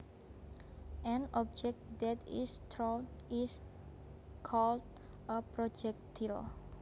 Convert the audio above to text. An object that is thrown is called a projectile